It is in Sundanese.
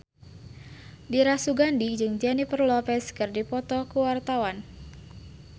Dira Sugandi jeung Jennifer Lopez keur dipoto ku wartawan